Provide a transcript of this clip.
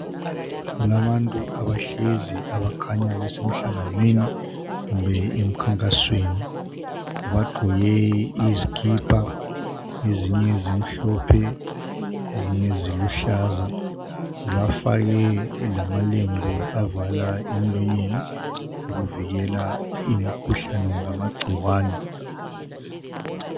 Kulabantu abahlezi, abakhanya besemhlanganweni, kumbe emkhankasweni. Bagqoke izikipa. Ezinye zimhlophe, ezinye ziluhlaza. Bafake lamalembu, avala emlonyeni, ukuvikela umkhuhlane kumbe amagcikwane.